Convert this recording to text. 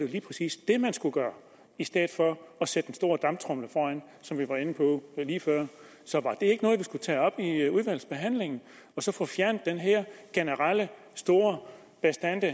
lige præcis det man skulle gøre i stedet for at sætte den store damptromle foran som vi var inde på lige før så var det ikke noget vi skulle tage op i udvalgsbehandlingen og så få fjernet den her generelle store bastante